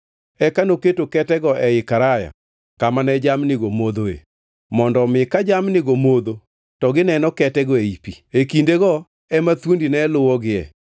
Eka noketo ketego ei karaya kama ne jamnigo modhoe, mondo omi ka jamnigo modho to gineno ketego ei pi. E kindego ema thuondi ne luwogie,